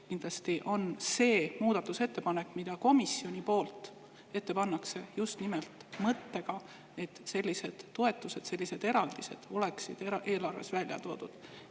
Kindlasti on see muudatusettepanek, mis komisjon ette paneb, tehtud just nimelt selle mõttega, et sellised toetused, sellised eraldised oleksid eelarves välja toodud.